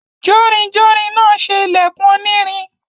Jórinjórin náà se ìlẹ̀kùn onírin.